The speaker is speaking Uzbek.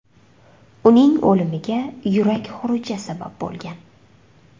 Uning o‘limiga yurak xuruji sabab bo‘lgan .